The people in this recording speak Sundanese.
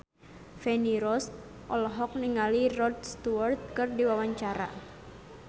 Feni Rose olohok ningali Rod Stewart keur diwawancara